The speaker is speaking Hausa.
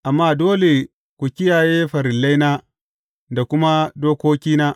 Amma dole ku kiyaye farillaina da kuma dokokina.